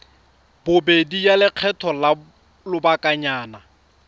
bobedi ya lekgetho la lobakanyana